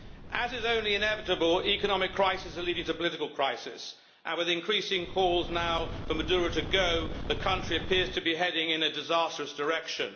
As is only inevitable, economic crises are leading to political crisis, and with increasing calls now for Maduro to go, the country appears to be heading in a disastrous direction.